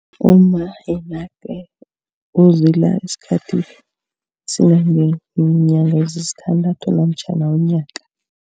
Umma yena-ke uzila isikhathi esingangeenyanga ezisithandathu namtjhana unyaka.